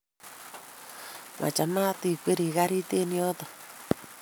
Machamat ikweeri karit eng yoto